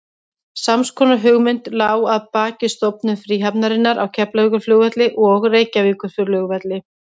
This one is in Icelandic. Sams konar hugmynd lá að baki stofnun fríhafnarinnar á Keflavíkurflugvelli og Reykjavíkurflugvelli.